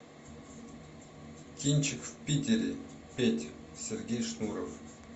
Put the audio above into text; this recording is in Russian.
кинчик в питере петь сергей шнуров